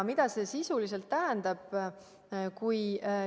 Mida see sisuliselt tähendab?